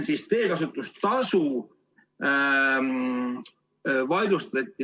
Asi on teekasutustasus.